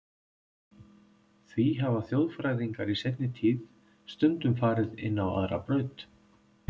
Því hafa þjóðfræðingar í seinni tíð stundum farið inn á aðra braut.